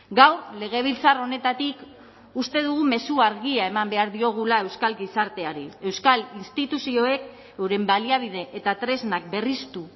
gaur legebiltzar honetatik uste dugu mezua argia eman behar diogula euskal gizarteari euskal instituzioek euren baliabide eta tresnak berriztu